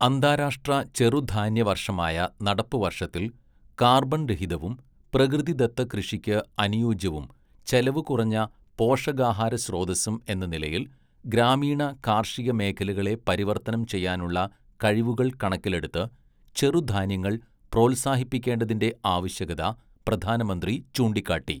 അന്താരാഷ്ട്ര ചെറുധാന്യവർഷമായ നടപ്പുവർഷത്തിൽ, കാർബൺരഹിതവും പ്രകൃതിദത്തകൃഷിക്ക് അനുയോജ്യവും ചെലവുകുറഞ്ഞ പോഷകാഹാരസ്രോതസ്സും എന്ന നിലയിൽ, ഗ്രാമീണ കാർഷിക മേഖലകളെ പരിവർത്തനം ചെയ്യാനുള്ള കഴിവുകൾ കണക്കിലെടുത്ത്, ചെറുധാന്യങ്ങൾ പ്രോത്സാഹിപ്പിക്കേണ്ടതിന്റെ ആവശ്യകത പ്രധാനമന്ത്രി ചൂണ്ടിക്കാട്ടി.